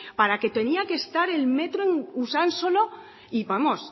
para que tenía que estar el metro en usánsolo y vamos